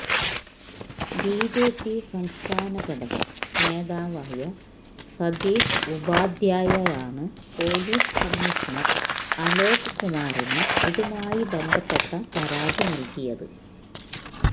BJP സംസ്ഥാന ഘടകം നേതാവായ സതീഷ് ഉപാധ്യായയാണ് പോലീസ് കമ്മീഷണര് അലോക് കുമാറിന് ഇതുമായി ബന്ധപ്പെട്ട പരാതി നല്കിയത്